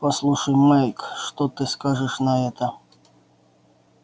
послушай майк что ты скажешь на это